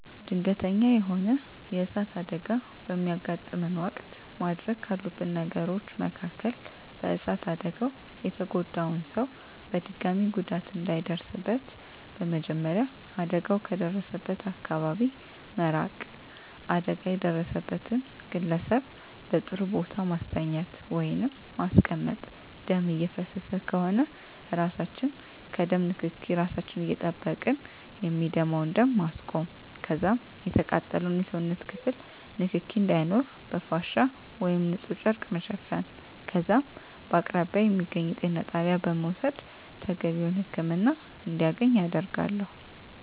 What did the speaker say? ድንገተኛ የሆነ የእሳት አደጋ በሚያጋጥመን ወቅት ማድረግ ካሉብን ነገሮች መካከል በእሳት አደጋው የተጎዳውን ሰው በድጋሚ ጉዳት እንዳይደርስበት በመጀመሪያ አደጋው ከደረሰበት አካባቢ መራቅ አደጋ የደረሰበትን ግለሰብ በጥሩ ቦታ ማስተኛት ወይንም ማስቀመጥ ደም እየፈሰሰ ከሆነ እራሳችን ከደም ንክኬ እራሳችን እየጠበቅን የሚደማውን ደም ማስቆም ከዛም የተቃጠለውን የሰውነት ክፍል ንክኪ እንዳይኖር በፍሻ ወይም ንፁህ ጨርቅ መሸፈን ከዛም በከአቅራቢያ የሚገኝ የጤና ጣቢያ በመውሰድ ተገቢውን ህክምና እንዲያገኝ አደርጋለሁ።